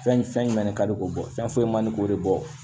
Fɛn jumɛn de ka di k'o bɔ fɛn foyi mandi k'o de bɔ